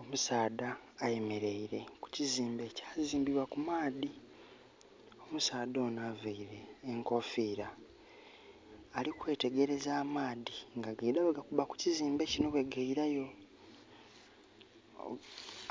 Omusaadha ayemereire ku kizimbe ekya zimbibwa ku maadhi. Omusaadha ono avaire enkofira alikwetegereza amaadhi nga gaida bwe ga kuba ku kizimbe kino bwe gayirayo.